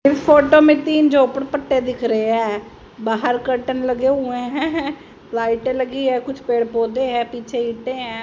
इस फोटो में तीन झोपड़पट्टी दिख रहे हैं बाहर कर्टन लगे हुए है हैं लाइटे लगी है कुछ पेड़ पौधे है पीछे इटे हैं।